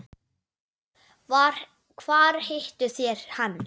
SKÚLI: Hvar hittuð þér hann?